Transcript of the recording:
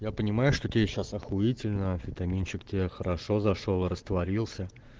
я понимаю что тебе сейчас ахуительно анфитаминчик тебе хорошо зашёл растворился